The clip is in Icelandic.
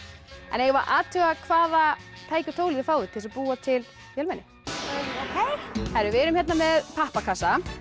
eigum við að athuga hvaða tæki og tól þið fáið til þess að búa til vélmenni við erum með pappakassa